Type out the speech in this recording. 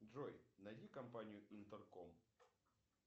джой найди компанию интерком